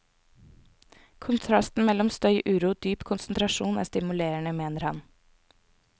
Kontrasten mellom støy, uro og dyp konsentrasjon er stimulerende, mener han.